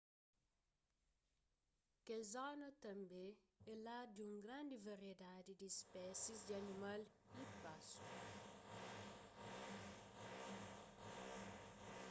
kel zona tanbê é lar di un grandi variedadi di spésis di animal y pasu